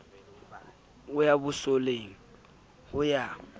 ho ya bosoleng ho ya